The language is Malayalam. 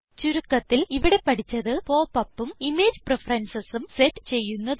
ചുരുക്കത്തിൽ ഇവിടെ പഠിച്ചത് Pop upഉം ഇമേജ് preferencesഉം സെറ്റ് ചെയ്യുന്നത്